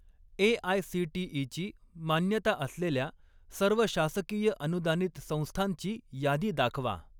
AICTE. ची मान्यता असलेल्या सर्व शासकीय अनुदानित संस्थांची यादी दाखवा.